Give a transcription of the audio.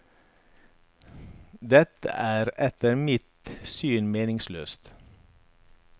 Dette er etter mitt syn meningsløst.